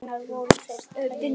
Hvenær voru þær teknar?